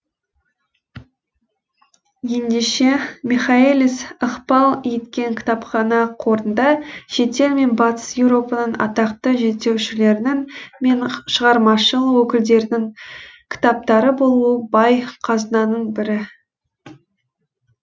ендеше михаэлис ықпал еткен кітапхана қорында шетел мен батыс еуропаның атақты зерттеушілері мен шығармашыл өкілдерінің кітаптары болуы бай қазынаның бірі